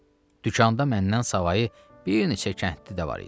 Dükanda məndən savayı bir neçə kəndli də var idi.